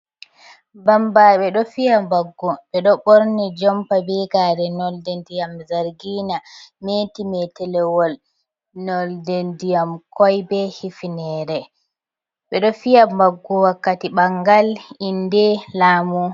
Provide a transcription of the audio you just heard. Bambaɗe ɗo fiya baggu, ɓe ɗo ɓorni jompa, be gare nolde ndiyam zargina, meti metelewol nolde ndiyam koi, be hifinere, ɓe ɗo fiya baggo wakkati ɓangal inde laamu.